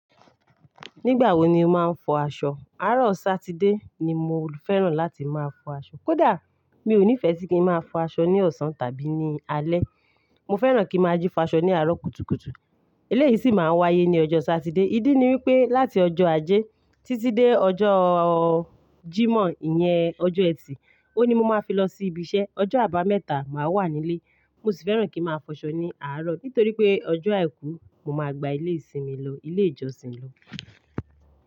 Nígbà wo ni o máa ń fọ aṣọ? Àárọ̀ Satide ni mo fẹ́ràn láti máa fọ aṣọ. Kódà mi ò nífẹẹ si kin máa fọ aṣọ ní ọ̀sán tàbí ní alé. Mo fẹ́ràn kí máa jí fa aṣọ ní àárọ̀ kùtùkùtù. Eléyìí sì máa ń wáyé ní ọjọ́ Satide. Ídí ni wípé láti ọjọ́ Ajé títí dé ọjọ́ Jímọ̀ ìyẹn ọjọ́ ẹtì, ó ni mo máa fi lọ sí ibi iṣẹ́. Ọjọ́ àbámẹ́ta máa wà nílé. Mo sì fẹ́ràn kí n máa fọ aṣọ ní àárọ̀ nítorí pé ọjọ́ Àìkú mo máa gba ilé ìsinmi lọ, ilé ìjọsìn lọ.